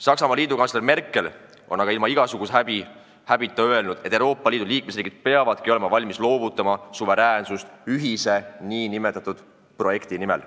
Saksamaa liidukantsler Merkel on aga ilma igasuguse häbita öelnud, et Euroopa Liidu liikmesriigid peavadki olema valmis loovutama suveräänsust ühise nn projekti nimel.